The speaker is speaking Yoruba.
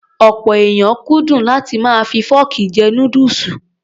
Ọ̀pọ̀ èèyàn kúndùn láti máa fi fọ́ọ̀kì jẹ núdùsù.